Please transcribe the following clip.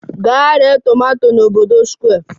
Gaa ree tomato n'obodo Square!